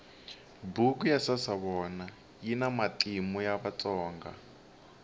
buku ya sasavona yina matimu ya vatsonga